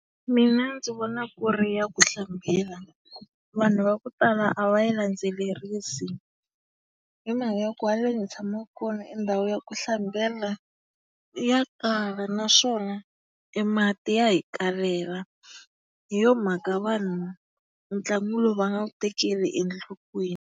Mina ndzi vona ku ri ya ku hlambela. Vanhu va ku tala a va yi landzelerisi hi mhaka ya ku haleni hi tshamaka kona endhawu ya ku hlambela ya kala naswona e mati ya hi kalela. Hi yo mhaka vanhu ntlangu lowu va nga wu tekeli enhlokweni.